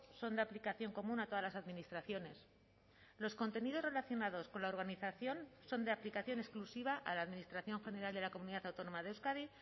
son de aplicación común a todas las administraciones los contenidos relacionados con la organización son de aplicación exclusiva a la administración general de la comunidad autónoma de euskadi